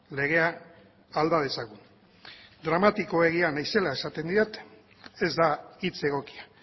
legea alda dezagun dramatiko egia naizela esaten didate ez da hitz egokia